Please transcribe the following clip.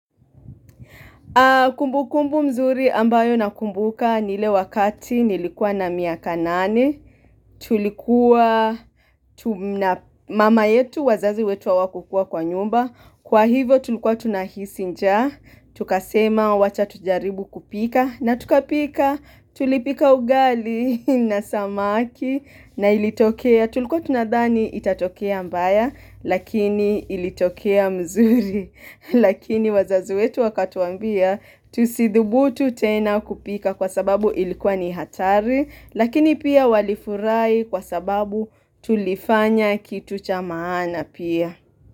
Kumbukumbu mzuri ambayo nakumbuka ni ile wakati nilikuwa na miaka nane, tulikuwa tuna mama yetu wazazi wetu hawakukuwa kwa nyumba, kwa hivyo tulikuwa tunahisi njaa, tukasema wacha tujaribu kupika na tukapika tulipika ugali na samaki na ilitokea, tulikuwa tunadhani itatokea mbaya lakini ilitokea mzuri. Lakini wazazi wetu wakatuambia tusidhubutu tena kupika kwa sababu ilikuwa ni hatari Lakini pia walifurahi kwa sababu tulifanya kitu cha maana pia.